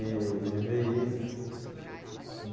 E ele vê isso.